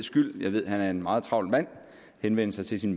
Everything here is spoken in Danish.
skyld jeg ved han er en meget travl mand henvende sig til sit